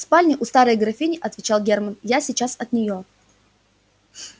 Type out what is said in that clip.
в спальне у старой графини отвечал германн я сейчас от нее